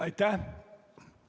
Aitäh!